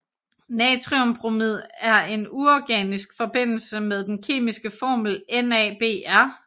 Natriumbromid er en uorganisk forbindelse med den kemiske formel NaBr